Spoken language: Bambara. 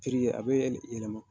a bɛ yɛlɛma.